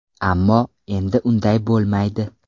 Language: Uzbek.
Ammo, endi unday bo‘lmaydi!